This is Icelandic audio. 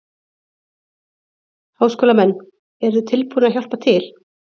Háskólamenn, eruð þið tilbúnir að hjálpa til?